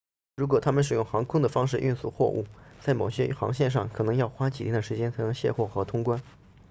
如果他们使用航空的方式运输货物在某些航线上可能要花几天的时间才能卸货和通关